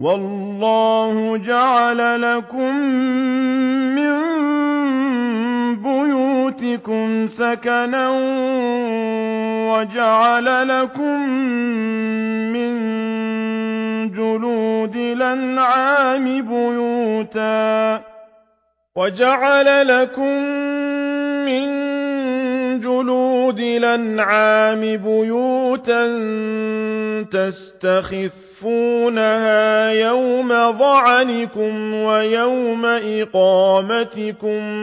وَاللَّهُ جَعَلَ لَكُم مِّن بُيُوتِكُمْ سَكَنًا وَجَعَلَ لَكُم مِّن جُلُودِ الْأَنْعَامِ بُيُوتًا تَسْتَخِفُّونَهَا يَوْمَ ظَعْنِكُمْ وَيَوْمَ إِقَامَتِكُمْ ۙ